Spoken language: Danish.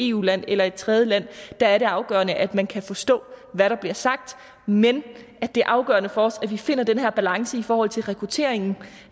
eu land eller et tredjeland der er det afgørende at man kan forstå hvad der bliver sagt men det er afgørende for os at vi finder den her balance i forhold til rekrutteringen